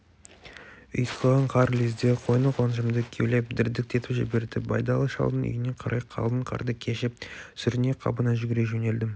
ұйтқыған қар лезде қойны-қоншымды кеулеп дірдектетіп жіберді байдалы шалдың үйіне қарай қалың қарды кешіп сүріне-қабына жүгіре жөнелдім